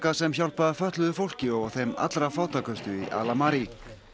sem hjálpa fötluðu fólki og þeim allra fátækustu í Al Amari